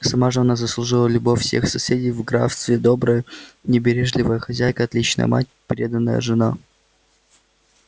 сама же она заслужила любовь всех соседей в графстве добрая не бережливая хозяйка отличная мать преданная жена